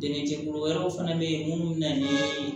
Dɛmɛ jɛkulu wɛrɛw fana bɛ yen minnu bɛ na ni